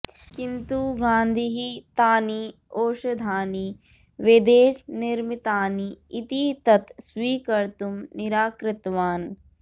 किन्तु गान्धिः तानि औषधानि वेदेशनिर्मितानि इति तत् स्वीकर्तुम् निराकृतवान्